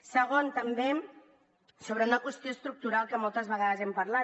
segon també sobre una qüestió estructural que moltes vegades hem parlat